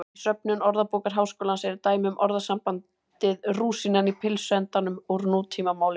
Í söfnum Orðabókar Háskólans eru dæmi um orðasambandið rúsínan í pylsuendanum úr nútímamáli.